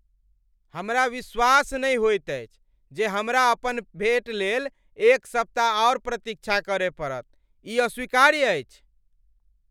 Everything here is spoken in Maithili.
हमरा विश्वास नहि होइत अछि जे हमरा अपन भेट लेल एक सप्ताह आर प्रतीक्षा करय पड़त। ई अस्वीकार्य अछि।